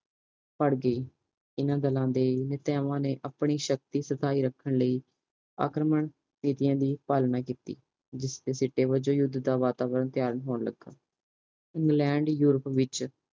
ਪੜ੍ਹਗੀ ਹਨ ਦਾਲਾਂ ਦੇ ਨਿਟੀਆਵਾਂ ਆਪਣੀ ਸ਼ਕਤੀ ਬਣਾਈ ਸਤਾਈ ਰੱਖਣ ਲਈ ਆਕ੍ਰਮਣ ਨੀਤੀਆਂ ਦੀ ਪਾਲਣਾ ਕੀਤੀ ਜਿਸਦੇ ਸਿੱਟੇ ਵਜੋਂ ਯੂੱਧ ਦਾ ਵਾਤਾਵਰਨ ਤਿਆਰ ਹੋਣ ਲਗਾ ਇੰਗਲੈਂਡ ਯੂਰਪ ਚ